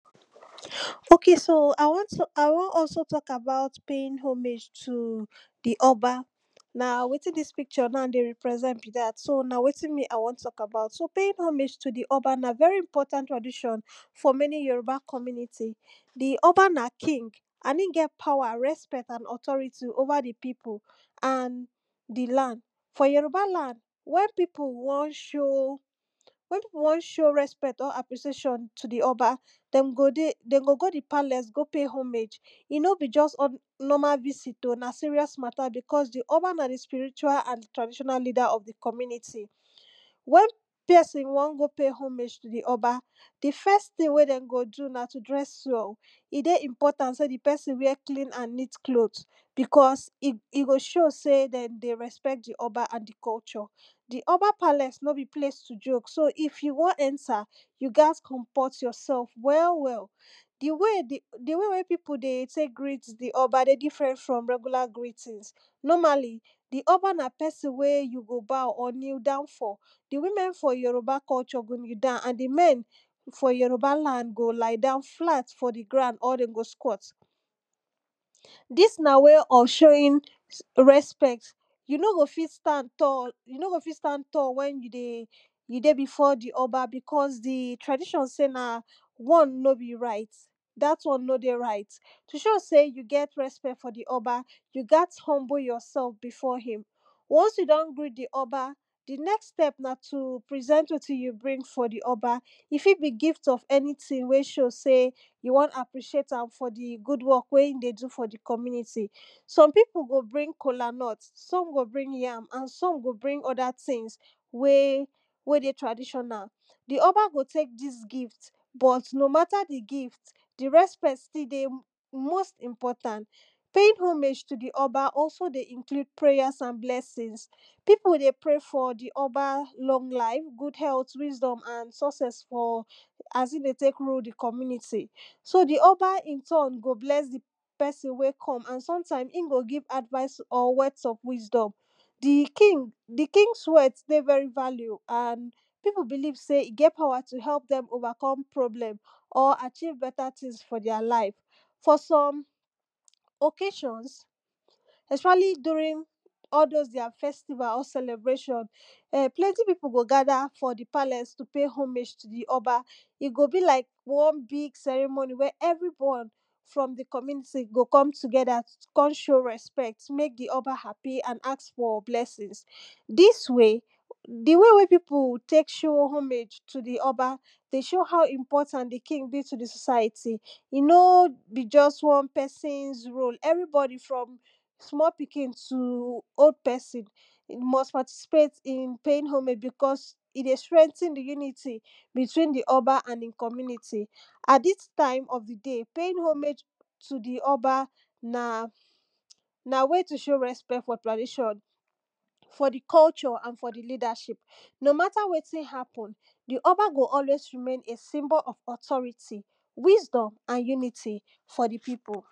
ok so I wan tal I wan also talk about paying homage to di oba na wetin dis picture dey represent be dat so na wetin me I wan talk about so paying homeage to di oba na very important tradition for many yoruba commuity. di oba na king and e get power, respect and authority over di pipu. and di land. for yoruba land, wen pipu won show wen pipu won show respect or appreciation to di oba, dem go dey dem go di palace go pay homage e no be just normal visit, na serious matter becos di oba na di spiritual and traditional leader of di community wen pesin won go pay homage to di oba, di first tin we den go do na to dress well, e dey important so di pesin wear clean and neat cloth because e go show say di pesin respect di oba and di culture. di oba palace no bi place to joke so if you wan enter, you gats comport yourself well well. di way wey pipu dey take greet di oba different from regular greetings. normally, di oba na pesin wey you go bow or kee down for, di women for yoruba culture go knee down and di men for yoruba land go lay down flat for di ground or dey go squat dis na way of showing respect you no go fit stand tall you no go fit stand tall wen you dey you dey before di oba because di tradition say dat one no be right to show sey you get respect for di oba, you gat humble yourself before him. ones you don greet di oba, di next step na to present wetin you bring for di oba e fit be gift way show say you won appreciate d good wey e dey do for di community. some pipu go bring kolanut, some go bring yam and some go bring other things, wey dey way dey traditional di oba go tek dis gift but no mata di gift, di respect dey uttmost important. paying homage to di oba also inclusde prayers and blesing pipu o dey pray for di oba long life, good health and wisdom sucess as in dey tek tun one so di oba in turn go bless di pesin wey come and sometime e go give advice or words of wisdom di king di kings words dey very value and pipu belive e get power to help dem overcome problem or achieve beta tin for their lifes. for some ocassions, especially during all those their festival celebration so many pipu go gather for di palace pay homage to di oba e go be like one big ceremony way everyone from di community go come together come show resect to mek di oba happy and ask for blessings dis way di one way people take show homage to di oba dey show how important di king be to di society e no be just one pesin role everybodi from small pikin, old pesin we must participate in paying homeage becos e dey strengthen di unity between di oba and him community at dis time of di day paying homeage to di oba na na way to show respect for tradition for di culture and for di leadership no matter wetin hapen di oba go always remain a symbol of authority, wisdom and unity for di people.